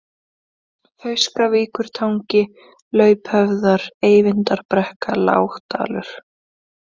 Fauskavíkurtangi, Lauphöfðar, Eyvindarbrekka, Lágdalur